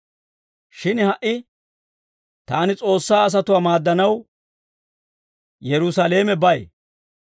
Shin ha"i taani S'oossaa asatuwaa maaddanaw, Yerusaalamebay.